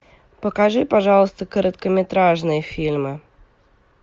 покажи пожалуйста короткометражные фильмы